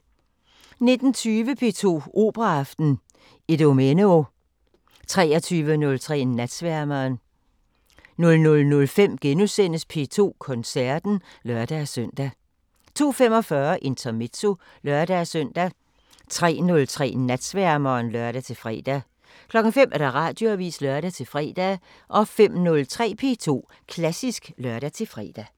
19:20: P2 Operaaften: Idomeneo 23:03: Natsværmeren 00:05: P2 Koncerten *(lør-søn) 02:45: Intermezzo (lør-søn) 03:03: Natsværmeren (lør-fre) 05:00: Radioavisen (lør-fre) 05:03: P2 Klassisk (lør-fre)